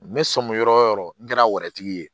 N bɛ sɔmi yɔrɔ o yɔrɔ n kɛra tigi ye